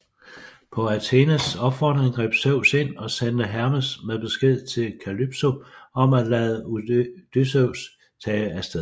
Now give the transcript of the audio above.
På Athenes opfordring greb Zeus ind og sendte Hermes med besked til Kalypso om at lade Odysseus tage af sted